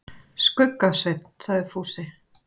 Skugga-Svein, sagði Fúsi.